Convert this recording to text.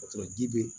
O sɔrɔ ji be